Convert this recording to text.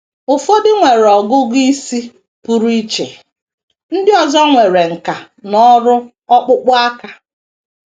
Ụfọdụ nwere ọgụgụ isi pụrụ iche; ndị ọzọ nwere nkà n’ọrụ ọkpụkpụ aka.